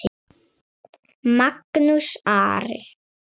Magnús Ari.